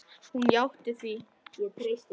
Hún játti því.